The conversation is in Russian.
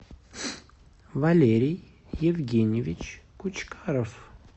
валерий евгеньевич кучкаров